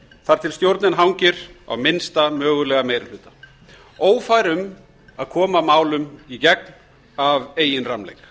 þar til stjórnin hangir á minnsta mögulega meiri hluta ófær um að koma málum í gegn af eigin rammleik